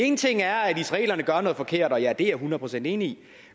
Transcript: en ting er at israelerne gør noget forkert og ja det er jeg hundrede procent enig